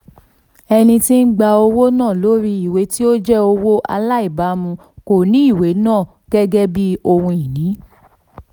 ẹni tí ń gba owó lórí ìwé tí ó jẹ́ owó aláìbámu kò ní ìwé náà gẹ́gẹ́ bí ohun-ini.